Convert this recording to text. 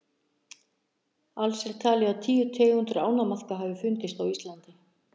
alls er talið að tíu tegundir ánamaðka hafi fundist á íslandi